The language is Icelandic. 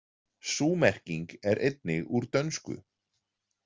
Sú merking er einnig úr dönsku.